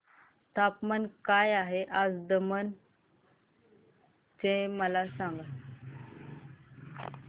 तापमान काय आहे आज दमण चे मला सांगा